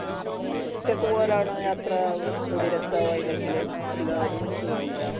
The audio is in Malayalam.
മ്മ്ഹ് ഒറ്റക് പോവലാണോ യാത്ര അതോ ഒന്നുകൂടി രസാവെ ഇല്ലെങ്കിൽ എല്ലാരും ഒരുമിച്ച് പോവുമ്പോഴാ